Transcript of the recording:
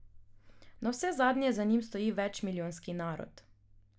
Navsezadnje za njim stoji večmilijonski narod.